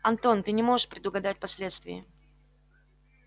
антон ты не можешь предугадать последствий